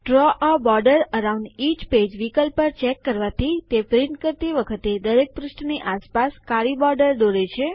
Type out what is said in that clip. દ્રવ એ border around each page વિકલ્પ પર ચેક કરવાથી તે પ્રિન્ટ કરતી વખતે દરેક પૃષ્ઠની આસપાસ કાળી બોર્ડર દોરે છે